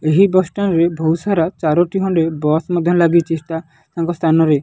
ଏହି bus stand ରେ ଭୋଉତ୍ ସାରା ଚାରୋଟି ଖଣ୍ଡେ ବସ୍ ମଧ୍ୟ ଲାଗିଚି। ଷ୍ଟା ତାଙ୍କ ସ୍ଥାନରେ।